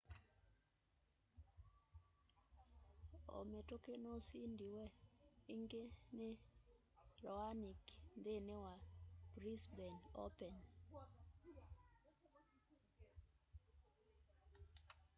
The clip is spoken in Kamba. o mituki nusindiwe ingi ni raonic nthini wa brisbane open